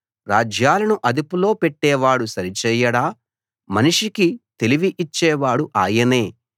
రాజ్యాలను అదుపులో పెట్టేవాడు సరిచేయడా మనిషికి తెలివి ఇచ్చేవాడు ఆయనే